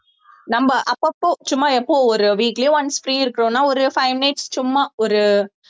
நம்ம அப்பப்போ சும்மா எப்பவும் ஒரு weekly once free இருக்கிறோம்ன்னா ஒரு five minutes சும்மா ஒரு